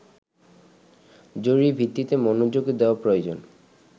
জরুরিভিত্তিতে মনোযোগ দেয়া প্রয়োজন